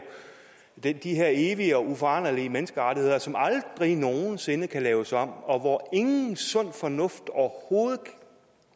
er de her evige og uforanderlige menneskerettigheder som aldrig nogen sinde kan laves om og hvor ingen sund fornuft overhovedet